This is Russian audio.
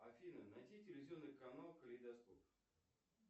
афина найди телевизионный канал калейдоскоп